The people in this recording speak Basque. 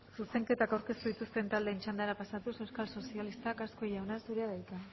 zuzenketak aurkeztu dituzten taldeen txandara pasatuz euskal sozialistak azkue jauna zurea da hitza